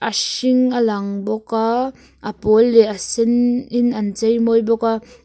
hring a lang bawk a a pawl leh a sen in an chei mawi bawk a.